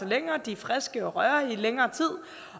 længere de er friske og rørige i længere tid